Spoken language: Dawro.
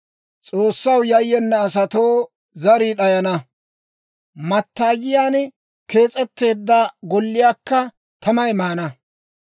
S'oossaw yayyena asatoo zarii d'ayana; mattaayiyaan kees'etteedda golliyaakka tamay maana.